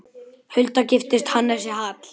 Hulda giftist Hannesi Hall.